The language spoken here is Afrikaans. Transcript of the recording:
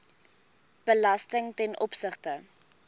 belasting ten opsigte